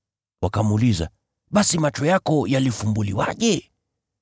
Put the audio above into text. Wakamuuliza, “Basi macho yako yalifumbuliwaje?”